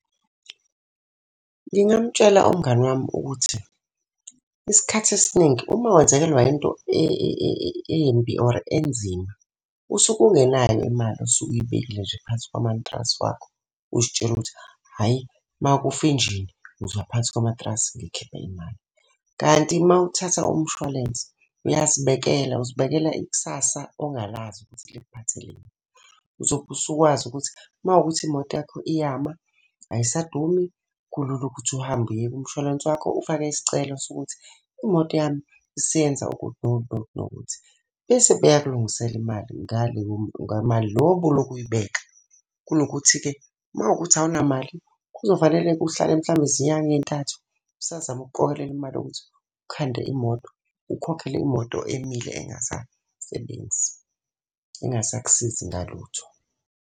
Ngingamutshela umngani wami ukuthi, isikhathi esiningi uma wenzakelwa into embi or enzima, usuke ungenayo imali osuke uyibekele nje phansi komantrasi wakho. Uzitshela ukuthi hhayi uma kufa injini uzoya phansi komatrasi ngikhiphe imali. Kanti uma uthatha umshwalense, uyazibekela, uzibekela ikusasa ongalazi ukuthi likuphatheleni. Uzobe usukwazi ukuthi uma kuwukuthi imoto yakho iyama ayisadumi kulula ukuthi uhambe uye kumshwalense wakho ufake isicelo sokuthi, imoto yami isiyenza ukuthi nokuthi nokuthi nokuthi. Bese beyakulungisela imali ngaleyo ngamali lo obulokhu uyibeka. Kunokuthi-ke uma kuwukuthi awunamali, kuzofanele uhlale mhlampe izinyanga ey'ntathu usazama ukuqokelela imali yokuthi ukhande imoto, ukhokhele imoto emile engasasebenzi, engasakusizi ngalutho.